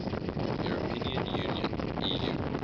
european union eu